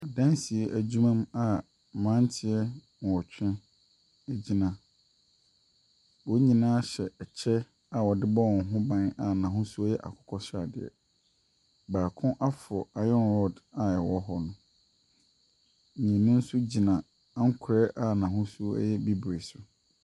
Adansie adwuma mu a mmaranteɛ nwɔtwe egyina. Wɔn nyinaa hyɛ ɛkyɛ a wɔde bɔ wɔn ho ban a n'ahosuo yɛ akokɔ sradeɛ. Baako aforo iron rod a ɛwɔ hɔ no. mmienu nso gyina ankorɛ a n'ahosuo yɛ bibre so.